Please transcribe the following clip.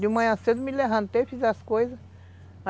De manhã cedo eu me levantei, fiz as coisas.